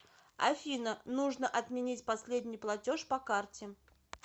афина нужно отменить последний платеж по карте